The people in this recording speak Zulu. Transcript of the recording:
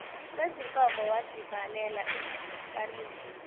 wezinkomo wazivalela ehlukanisa